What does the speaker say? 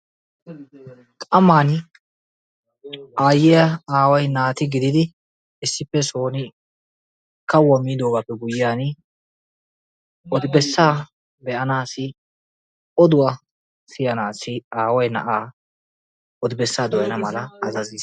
Qamani Aayiya Aaway naati gididi issippe sooni kawuwaa miidogappe guyiyani odi bessan beanasi oduwaa siyanasi i Aaway na'aa odi bessa doyana mala azaaziis.